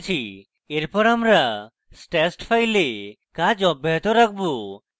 এরপর আমরা stashed files কাজ অব্যাহত রাখব